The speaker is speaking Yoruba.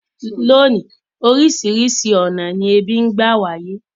Lónìí, orísìrísi ọ̀nà ni ebí n gba wáyé